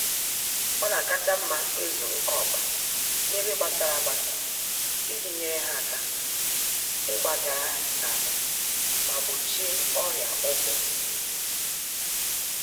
Ọnakacha mma ịzụ oké ọkpa n'ebe gbasara agbasa iji nyèrè ha áká igbagara-ahụ ma gbochie ọrịa ụkwụ